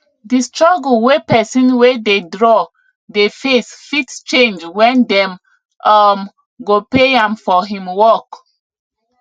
the struggle wey pesin wey dey draw dey face fit change when dem um go pay am for him work